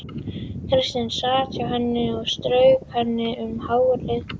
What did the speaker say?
Kristín sat hjá henni og strauk henni um hárið.